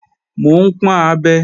Mò ń pọ́n abẹ